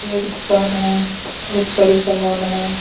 एक दुकान है बहुत सारे सामान है।